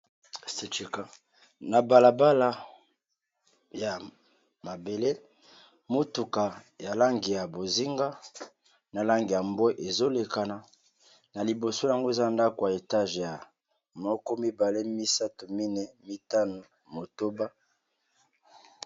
na balabala ya mabele motuka ya langi ya bozinga na langi ya mbwe ezolekana na liboso yango eza ndako ya etage ya 123i4 i5a motoba